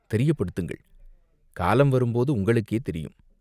தெரியப்படுத்துங்கள்!" "காலம் வரும்போது உங்களுக்கே தெரியும்.